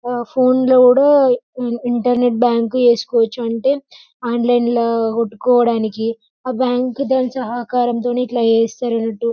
ఫోన్లో కూడా internet bank చేసుకోవచ్చు అంటే ఆన్లైన్లో కొట్టుకోవడానికి ఆ బ్యాంకు తోని సహకారంతో ఎట్లా చేస్తారు అన్నట్టు.